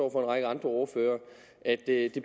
række andre ordførere det